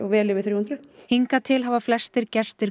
vel yfir þrjú hundruð hingað til hafa flestir gestir